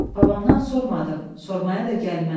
Babamdan sormadım, sormaya da gəlməz.